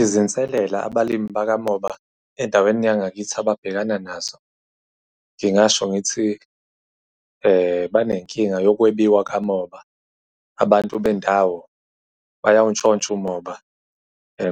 Izinselela abalimi bakamoba endaweni yangakithi ababhekana nazo, ngingasho ngithi, banenkinga yokwebiwa kamoba. Abantu bendawo bayawuntshontsha umoba,